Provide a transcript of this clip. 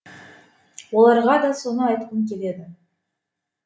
оларға да соны айтқым келеді